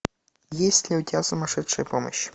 есть ли у тебя сумасшедшая помощь